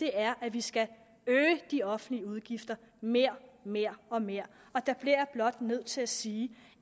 er at vi skal øge de offentlige udgifter mere mere og mere der bliver blot nødt til at sige